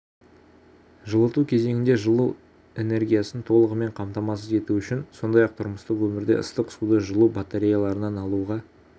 жылыту кезеңінде жылу энергиясын толығымен қамтамасыз ету үшін сондай-ақ тұрмыстық өмірде ыстық суды жылу батареяларынан алуға